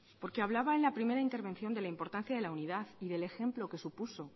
porque hablaba en la primera intervención de la importancia de la unidad y del ejemplo que supuso